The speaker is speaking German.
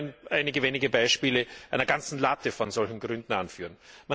Ich will nur einige wenige Beispiele einer ganzen Latte von solchen Gründen anführen.